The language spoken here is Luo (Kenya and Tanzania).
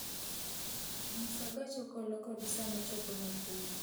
Nyis gach okolokod saa ma chopo Nakuru